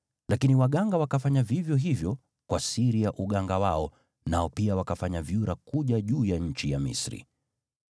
Lakini waganga wakafanya vivyo hivyo kwa siri ya uganga wao, nao pia wakafanya vyura kuja juu ya nchi ya Misri.